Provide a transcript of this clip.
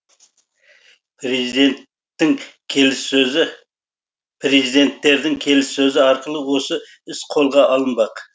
президенттердің келіссөзі арқылы осы іс қолға алынбақ